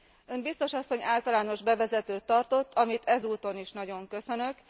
Ön, biztos asszony, általános bevezetőt tartott, amit ezúton is nagyon köszönök.